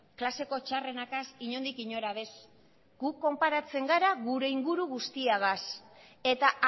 klaseko txarrenarekin inondik inora bez guk konparatzen gara gure inguru guztiagaz eta